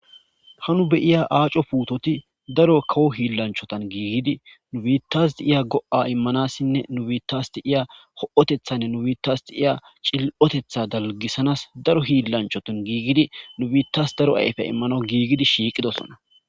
Ha nu beiya aaco puutoti daro kawo hiillanchotan giigidi nu biittasti iya go'a immanassinne nubiittasti iya ho'otethanne nu biittasti iya cil'otetha dalgisanas daro hiillanchotan giigidi nu biittas daro ayfe immano giigidi shiiqidosona